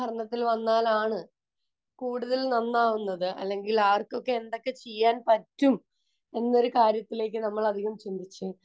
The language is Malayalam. ഭരണത്തിൽ വന്നാൽ ആണ് കൂടുതൽ നന്നാവുക അല്ലെങ്കിൽ ആർക്കൊക്കെ എന്തൊക്ക ചെയ്യാൻ പറ്റും എന്ന ഒരു കാര്യത്തിലെ നമ്മൾ അധികം ചിന്തിക്കും